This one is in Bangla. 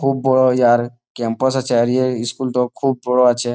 খুব বড়ো ইহার ক্যাম্পাস আছে আর ইহার স্কুল টো খুব বড়ো আছে।